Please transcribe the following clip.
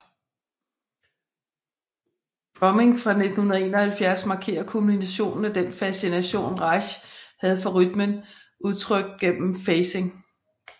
Drumming fra 1971 markerer kulminationen af den fascination Reich havde for rytmen udtrykt gennem phasing